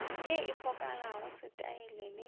ye e fokolago setaela le